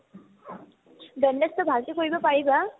বেণ্ডেছটো ভালকে কৰিব পাৰিবা